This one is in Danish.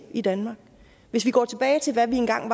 i danmark hvis vi går tilbage til hvad vi engang